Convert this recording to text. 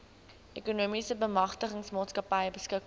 ekonomiese bemagtigingsmaatskappy beskikbaar